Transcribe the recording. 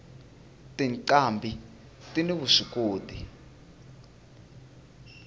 tinqambhi tini vuswikoti